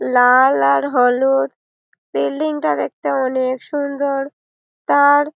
লাল আর হলুদ বিল্ডিং -টা দেখতে অনেক সুন্দর তার--